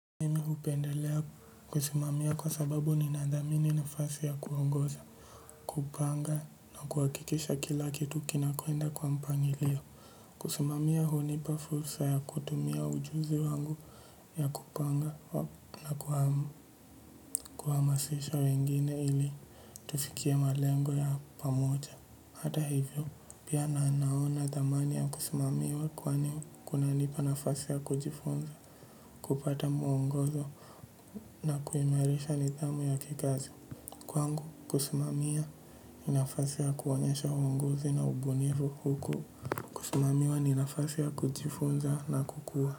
Hupendelea kusumamia kwa sababu ninathamini nafasi ya kuongoza, kupanga na kuhakikisha kila kitu kinakwenda kwa mpangilio. Kusimamia hunipa fursa ya kutumia ujuzi wangu ya kupanga na kuhamasisha wengine ili tufikie malengo ya pamoja. Hata hivyo, pia naanaona thamani ya kusumamiwa kwani kuna nipa nafasi ya kujifunza, kupata muongozo na kuimarisha nidhamu ya kikazi. Kwangu, kusumamia ni nafasi ya kuonyesha uungozi na ubunifu huko. Kusumamiwa ni nafase ya kujifonza na kukua.